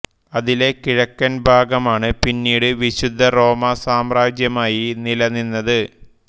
അതിലെ കിഴക്കൻ ഭാഗമാണ് പിന്നീട് വിശുദ്ധ റോമാ സാമ്രാജ്യമായി നിലനിന്നത്